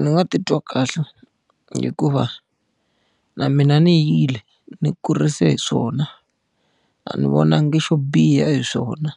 Ni nga titwa kahle hikuva na mina ni yile ni kurise hi swona. A ni vonangi xo biha hi swona.